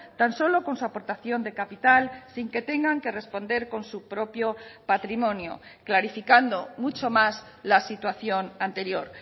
tan solo con su aportación de capital sin que tengan que responder con su propio patrimonio clarificando mucho más la situación anterior